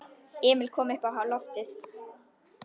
Emil kom uppá loftið.